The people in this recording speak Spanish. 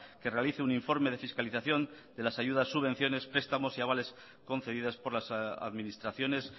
que realice un informe de fiscalización de las ayudas subvenciones prestamos y avales concedidas por las administraciones